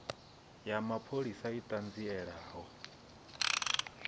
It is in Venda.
ya mapholisa i ṱanzielaho u